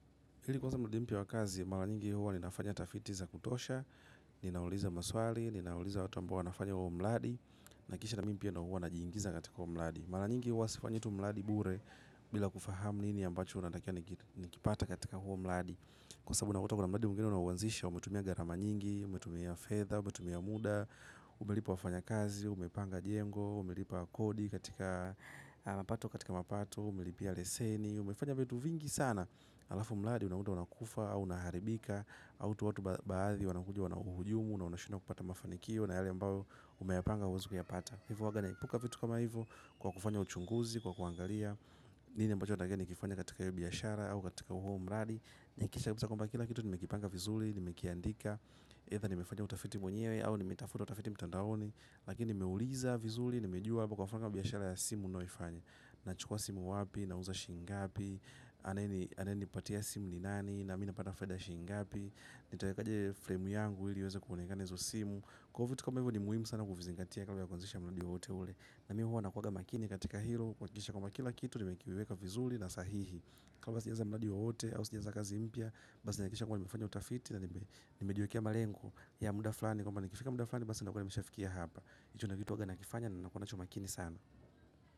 Hili kwaza mnudi mpya wakazi, mara nyingi huwa ninafanya tafitiza kutosha, ninauliza maswali, ninauliza watu ambao wanafanya huo mladi, na kisha na mimi pia huwa najiingiza katika huo mladi. Mara nyingi huwa sifanyitu mladi bure bila kufahamu nini ambacho natakiwa nikipate katika huo mladi. Kwa sabu unakuta kuna mladi mwingine unauanzisha, umetumia garama nyingi, umetumia fetha, umetumia muda, umelipa wafanya kazi, umepanga jengo, umelipa kodi katika alapato katika mapato, umelipia leseni. Umefanya vitu vingi sana alafu mladi unakuta unakufa, unaharibika autu watu baadhi wanakuja wanuhujumu, na unashindwa kupata mafanikio na yale ambayo umeapanga huwizi kuyapata hivo uaaga naipuka vitu kama hivo kwa kufanya uchunguzi, kwa kuangalia nini ambacho natakiwa ni kifanya katika hiyi biashara au katika uhu mladi ni kisha hakikisha kwamba kila kitu ni mekipanga vizuli ni mekia ndika, hedha ni mefanya utafiti mwenyewe au ni metafuta utafiti mtandaoni lakini meuliza vizuli, ni mejua hapo kwa mfano biashara ya simu nayoifanya na chukua simu wapi, na uza shingapi anaenipatia simu ni nani na mina pata faida ya shingapi nitaekaje fremu yangu ili iweza kuonekana hizo simu kwa hivo kama hivyo ni muhimu sana kufizingatia kabla ya kuanzisha mladi wowote ule na mimi huwa nakuaga makini katika hilo kuhakisha kama kila kitu nime kiweka vizuli na sahihi kamasijaza mladi wowote au sijaaza kazi mpya basi nahakikisha kwa nimefanya utafiti na nime jiwekia malengo ya muda flani kwamba nikifika muda flani basi na kuwa nimeshafikia hapa icho ndo kitu uwaga na kifanya na nakona chumakini sana.